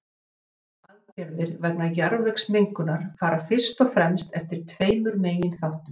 viðbrögð og aðgerðir vegna jarðvegsmengunar fara fyrst og fremst eftir tveimur meginþáttum